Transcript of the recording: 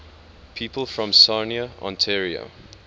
people from sarnia ontario